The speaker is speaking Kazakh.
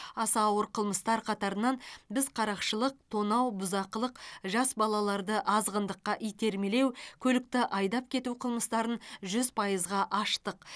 аса ауыр қылмыстар қатарынан біз қарақшылық тонау бұзақылық жас балаларды азғындыққа итермелеу көлікті айдап кету қылмыстарын жүз пайызға аштық